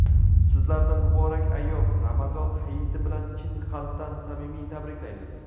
Sizlarni muborak ayyom — Ramazon hayiti bilan chin qalbdan samimiy tabriklaymiz.